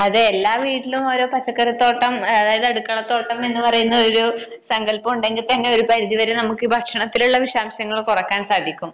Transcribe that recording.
അതെ എല്ലാ വീട്ടിലും ഒരു പച്ചക്കറി തോട്ടം ഒരു അടുക്കള തോട്ടം എന്നുപറയുന്ന ഒരു സങ്കൽപം ഉണ്ടെങ്കിൽ തന്നെ ഒരു പരിധി വരെ നമുക്ക് ഈ ഭക്ഷണത്തിലുംമ വിഷാംശം കുറക്കാൻ സാധിക്കും